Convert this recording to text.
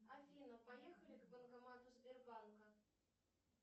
афина поехали к банкомату сбербанка